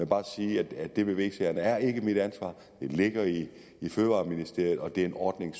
bare sige at det med v sagerne ikke er mit ansvar det ligger i fødevareministeriet og det er en ordning